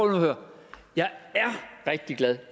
at høre jeg er rigtig glad